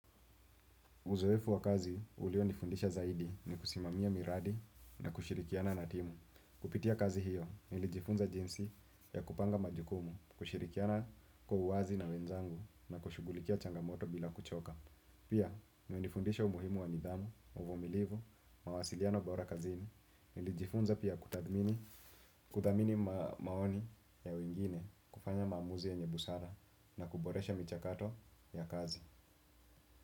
Uzoefu wa kazi, ulio nifundisha zaidi ni kusimamia miradi na kushirikiana na timu. Kupitia kazi hiyo, nilijifunza jinsi ya kupanga majukumu, kushirikiana kwauwazi na wenzangu na kushughulikia changamoto bila kuchoka. Pia, imenifundisha umuhimu wa nidhamu, uvumilivu, mawasiliano bora kazini, nilijifunza pia kudhamini maoni ya wengine kufanya maamuzi ye nyebusara na kuboresha michakato ya kazi.